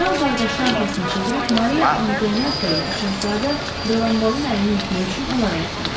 Kral qardaşını arxasını çevirib Mariya Antoetta ilə şəhzadə Delanbalın əlini öpmək üçün onlara yaxınlaşdı.